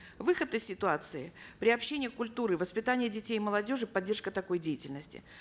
выход из ситуации приобщение культуры воспитания детей и молодежи поддержка такой деятельности